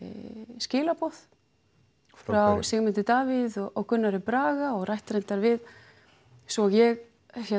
skilaboð frá Sigmundi Davíð og Gunnari Braga og rætt reyndar við svo ég